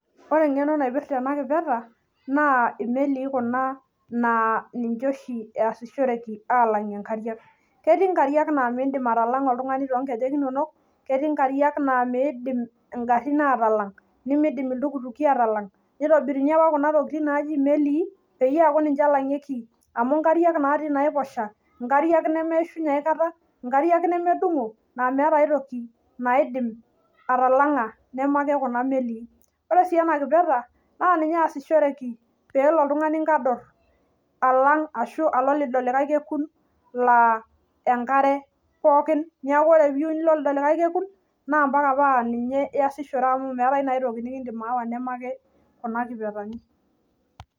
ore eng'eno naipita ena naa imelii kuna naa niche oshi eesishoreki alang'ie inkariak ketii inkariak naa miidim oltung'ani atalang'a too inkejek inonok ketii inkariak naa miidim igarin atalang' nitobirini apa kuna tokitin naaji imelii peyie eku ninche elang'ieki inkariak naatii inaiposha inkariak nemeishunye aikata naa meeta aitoki neme ake kuna melii , ore sii naa ninye esishoreki pee elo oltungani inkador ashu alo lido likae kekun laa enkare pooki neeku ore pee iyieu nilo lido likae kekun naa mpaka naa ninye iyasishore.